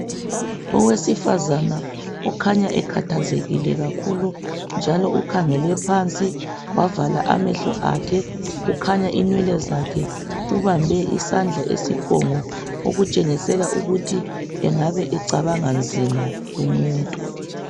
Owesifazane okhanya ekhathazekile kakhulu njalo ukhangele phansi wavala amahle akhe kukhanya inwele zakhe , ubambe isandla esiphongo okutshengisela ukuthi engabe becabanga nzima lumuntu